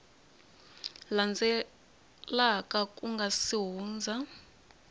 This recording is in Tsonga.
landzelaka ku nga si hundza